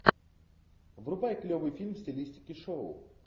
врубай клевый фильм в стилистике шоу